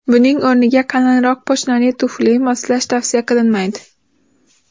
Buning o‘rniga qalinroq poshnali tufli moslash tavsiya qilinmaydi.